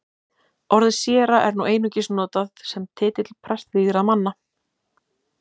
Orðið séra er nú einungis notað sem titill prestvígðra manna.